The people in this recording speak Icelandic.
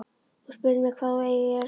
Þú spyrð mig hvað þú eigir að gera.